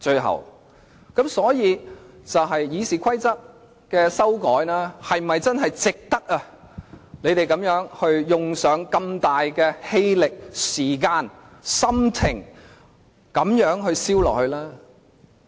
修改《議事規則》是否真的值得你們耗費如此大的氣力，並賠上時間、心力呢？